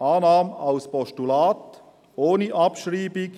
Annahme als Postulat ohne Abschreibung.